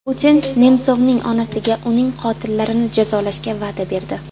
Putin Nemsovning onasiga uning qotillarini jazolashga va’da berdi.